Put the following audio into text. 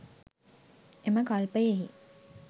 එම කල්පයෙහි